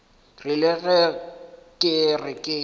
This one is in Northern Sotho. rile ge ke re ke